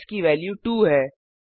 अब एक्स की वेल्यू 2 है